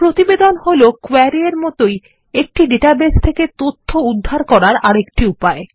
প্রতিবেদন হল query এর মতই একটি ডাটাবেস থেকে তথ্য উদ্ধার করারআরেকটি উপায়